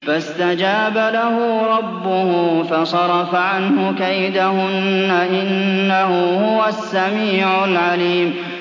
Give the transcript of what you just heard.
فَاسْتَجَابَ لَهُ رَبُّهُ فَصَرَفَ عَنْهُ كَيْدَهُنَّ ۚ إِنَّهُ هُوَ السَّمِيعُ الْعَلِيمُ